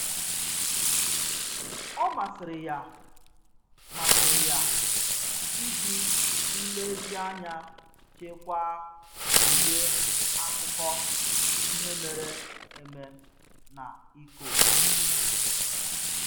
Ọ masịrị ya masịrị ya iji nlezianya chekwaa uwe akụkọ ihe mere eme na iko iko